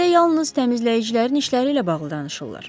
Bizdə yalnız təmizləyicilərin işləri ilə bağlı danışırlar.